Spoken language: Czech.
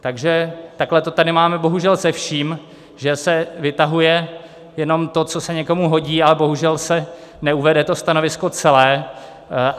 Takže takhle to tady máme bohužel se vším, že se vytahuje jenom to, co se někomu hodí, a bohužel se neuvede to stanovisko celé.